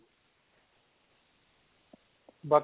ਬਾਕੀ